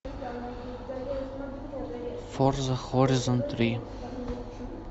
форза хоризон три